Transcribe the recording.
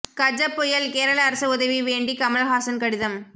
கஜ புயல் கேரள அரசு உதவி வேண்டி கமல் ஹாசன் கடிதம்